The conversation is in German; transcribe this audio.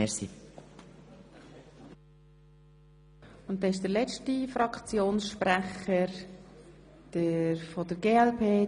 Nun kommt der letzte Fraktionssprecher, Grossrat Zaugg von der glp.